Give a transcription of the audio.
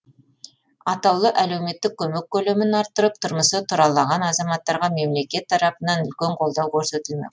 атаулы әлеуметтік көмек көлемін арттырып тұрмысы тұралаған азаматтарға мемлекет тарапынан үлкен қолдау көрсетілмек